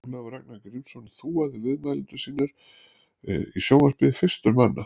Ólafur Ragnar Grímsson þúaði viðmælendur sína í sjónvarpi fyrstur manna.